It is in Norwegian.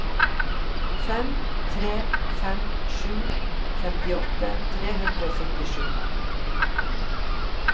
fem tre fem sju femtiåtte tre hundre og syttisju